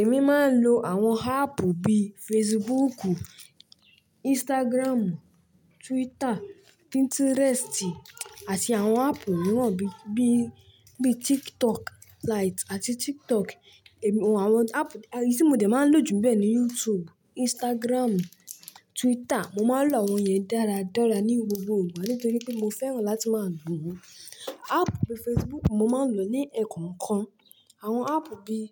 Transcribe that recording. Èmi máa ń lo àwọn áàpù bíi Facebook, Instagram, Twitter, Pinterest àti àwọn áàpù mìíràn bíi, TikTok light àti TikTok. Àwọn áàpù, tí mo dè máa ń lò jù bẹ́ẹ̀ níbẹ̀ ni YouTube, Instagram, Twitter. Mo máa ń lo àwọn yẹn dáradára ní gbogbo ìgbà nítorí pé mo fẹ́ràn láti máa lò wọ́n. Áàpù bíi Facebook, mo máa ń lò ó ní ẹ̀ẹ̀kọ̀ọ̀kan. Àwọn áàpù bíi,